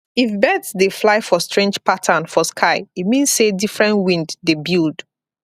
if birds dey fly for strange pattern for sky e mean say different wind dey build